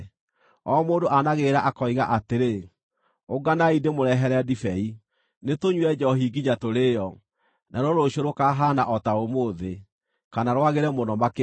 O mũndũ aanagĩrĩra akoiga atĩrĩ, “Ũnganai ndĩmũrehere ndibei! Nĩtũnyue njoohi nginya tũrĩĩo! Naruo rũciũ rũkaahaana o ta ũmũthĩ, kana rwagĩre mũno makĩria.”